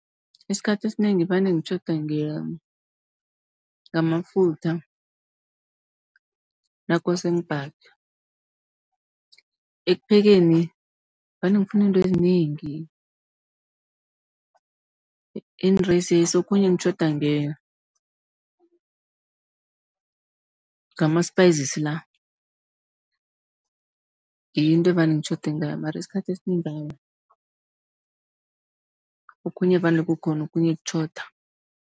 Isikhathi esinengi vane ngitjhoda ngamafutha nakose ngibhage. Ekuphekeni vane ngifuna iintwezinengi okhunye ngitjhoda ngama-spices la. Ngiyo into evane ngitjhode ngayo mara isikhathi esinengi awa, okhunye vane kukhona, okhunye kutjhoda.